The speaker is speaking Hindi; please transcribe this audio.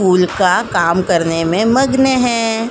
कूल का काम करने में मग्न हैं।